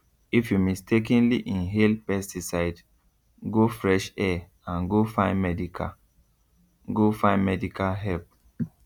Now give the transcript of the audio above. if you mistakenly inhale pesticide go fresh air and go find medical go find medical help